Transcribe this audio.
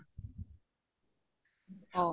অ